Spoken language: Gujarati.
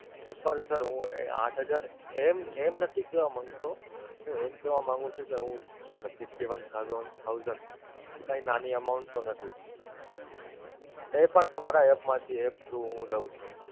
પણ Sir હું આંઠ હજાર એમ એમ નથી કેવાં માંગતો હું એમ કેવાં માંગુ છું કે હું Sir Fifty One Thousand કાંઈ નાની amount તો નથી એ પણ તમારા App માંથી, through app હું લઉં છું,